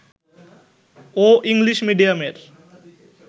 ও English মিডিয়ামের